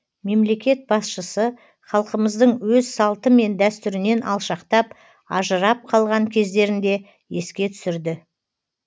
мемлекет басшысы халқымыздың өз салты мен дәстүрінен алшақтап ажырап қалған кездерін де еске түсірді